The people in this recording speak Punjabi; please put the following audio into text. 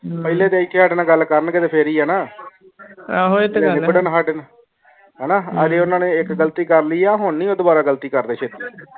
ਮਾਲੇਈ ਤੇ ਇਕ ਹੀ ਹਟ ਨਾਲ ਗੱਲ ਕਰਨ ਦੇ ਫਿਰ ਹੀ ਨਾ ਹੈ ਨਾ ਅਜੇ ਓਨਾ ਨੇ ਇਕ ਗ਼ਲਤੀ ਕਰ ਲਾਇ ਇਹ ਹੁਣ ਨੀ ਉਹ ਦੁਬਾਰਾ ਗ਼ਲਤੀ ਕਰਦੇ ਚੀਤਿ